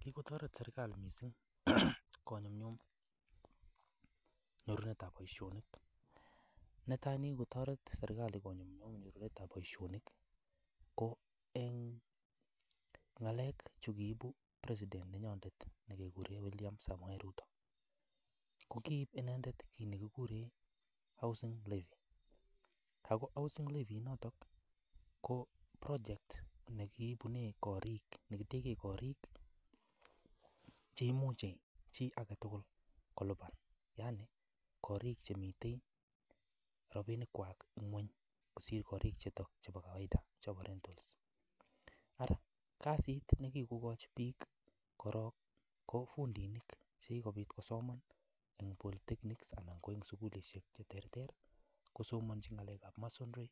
Kigotoret serkalit mising konyumnyum nyorunetab boisionik. Netai negigotoret serkalit konyumnyum nyorunetab boisionik ko en ngalek chu kiibu presidet nenyonet kiguren William Samoe Ruto. Ko kiib inendet kiiit ne kiguren housing levy ago housing levy inoto ko project nekitegen koring cheimuche chi age tugul kolipan yani korik che miten robinkwak ng'weny kosir korik chebo kawaida chebo rentals . Ara kasit ne kigokochi biik korong ko fundinik che kigobit kosoman en polytechnic anan ko en sugulishek che terter kosomonchin ng'alekab masonry,